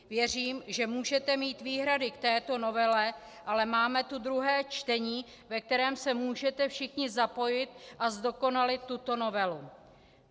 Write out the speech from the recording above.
Věřím, že můžete mít výhrady k této novele, ale máme tu druhé čtení, ve kterém se můžete všichni zapojit a zdokonalit tuto novelu.